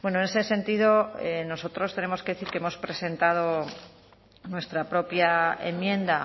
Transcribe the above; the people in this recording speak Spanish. en ese sentido nosotros tenemos que decir que hemos presentado nuestra propia enmienda